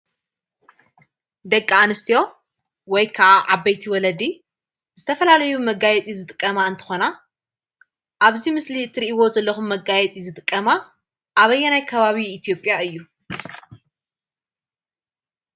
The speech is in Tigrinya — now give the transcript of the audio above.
ደቂ አንስትዮ ወይ ከዓ ዓበይቲ ወለዲ ዝተፈላለዩ መጋየፂ ዝጥቀማ እንትኾና፤ አብ እዚ ምስሊ እትሪእዎ ዘለኹም መጋየፂ ዝጠቀማ ኣበየናይ ከባቢ ኢትዮጵያ እዩ?